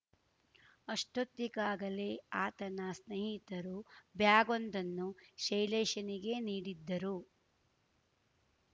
ಅಷ್ಟೋತ್ತಿಗಾಗಲೇ ಆತನ ಸ್ನೇಹಿತರು ಬ್ಯಾಗ್‌ವೊಂದನ್ನು ಶೈಲೇಶ್‌ಗೆ ನೀಡಿದ್ದರು